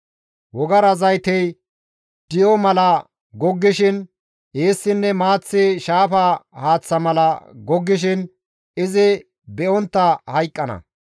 Wogara zaytey di7o mala goggishin eessinne maaththi shaafa haaththa mala goggishin izi be7ontta hayqqana.